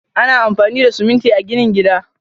Ana amfani da siminti a ginin gada.